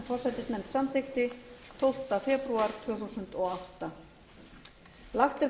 forsætisnefnd samþykkti tólfta febrúar tvö þúsund og átta